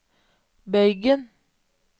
bøygen